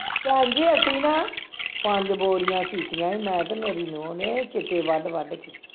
ਭੈਣਜੀ ਅਸੀਂ ਨਾ ਪੰਜ ਬੋਰੀਆਂ ਕੀਤੀਆਂ ਸੀ ਮੈਂ ਤੇ ਮੇਰੀ ਨੂੰਹ ਨੇ ਸਿੱਟੇ ਵੱਢ ਵੱਢ ਕੇ